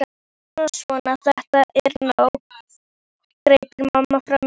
Svona, svona, þetta er nóg greip mamma fram í.